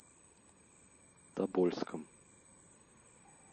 тобольском